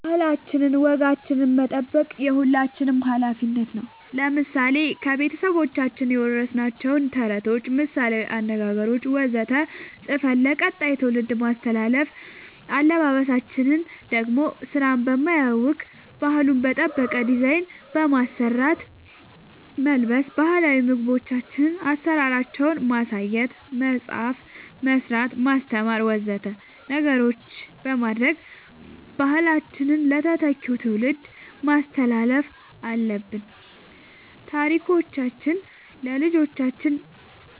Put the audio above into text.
ባህላችን ወጋችን መጠበቅ የሁላችንም አላፊነት ነው ለምሳሌ ከቤተሰቦቻችን የወረስናቸውን ተረቶች ምሳላዊ አነገገሮች ወዘተ ፅፈን ለቀጣይ ትውልድ ማስተላለፍ አለበበሳችን ደሞ ስራን በማያውክ ባህሉን በጠበቀ ዲዛይን በመስራት መልበስ ባህላዊ ምግቦቻችን አሰራራቸውን ማሳየት መፅአፍ መስራት ማስተማር ወዘተ ነገሮች በማድረግ ባህላችንን ለተተኪው ትውልድ ማስተላለፍ አለብን ታሪኮቻችን ለልጆቻን